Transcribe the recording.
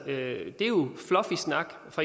det